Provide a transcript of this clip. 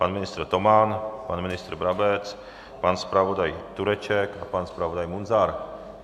Pan ministr Toman, pan ministr Brabec, pan zpravodaj Tureček a pan zpravodaj Munzar.